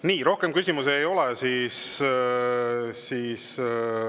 Nii, rohkem küsimusi ei ole.